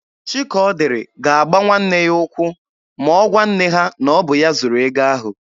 Chikaọdịrị ga-agba nwanne ya ụkwụ ma ọ gwa nne ha na ọ bụ ya zuru ego ahụ.